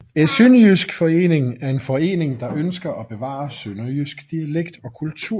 Æ Synnejysk Forening er en forening der ønsker at bevare sønderjysk dialekt og kultur